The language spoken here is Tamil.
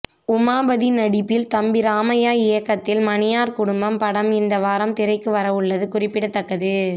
உமாபதி நடிப்பில் தம்பி ராமையா இயக்கத்தில் மணியார் குடும்பம் படம் இந்த வாரம் திரைக்கு வரவுள்ளது குறிப்பிடத்தக்கது